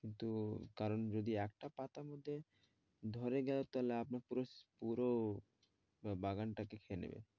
কিন্তু কারন যদি আটটা পাতা হত ধরা যায় তাহলে আপনার পুরো পুরো বাগানটা